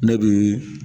Ne bi